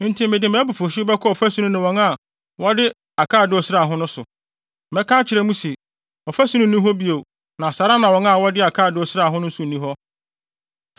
Enti mede mʼabufuwhyew bɛkɔ ɔfasu no ne wɔn a wɔde akaadoo sraa ho no so. Mɛka akyerɛ mo se, “Ɔfasu no nni hɔ bio na saa ara na wɔn a wɔde akaadoo sraa ho no nso nni hɔ,